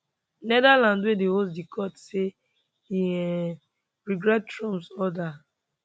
netherlands wey dey host di court say e um regret trumps order um